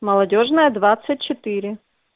молодёжная двадцать четыре